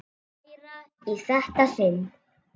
Hærra í þetta sinn.